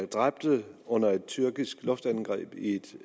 dræbte under et tyrkisk luftangreb i et